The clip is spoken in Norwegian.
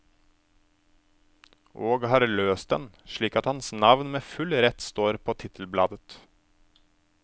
Og har løst den, slik at hans navn med full rett står på tittelbladet.